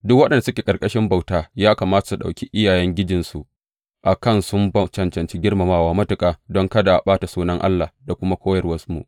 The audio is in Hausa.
Duk waɗanda suke ƙarƙashin bauta, ya kamata su ɗauki iyayengijinsu a kan sun cancanci girmamawa matuƙa, don kada a ɓata sunan Allah da kuma koyarwarmu.